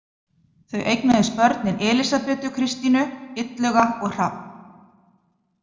Þau eignuðust börnin Elísabetu Kristínu, Illuga og Hrafn.